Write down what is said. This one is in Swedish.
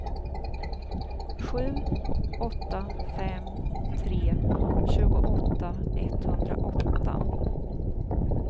sju åtta fem tre tjugoåtta etthundraåtta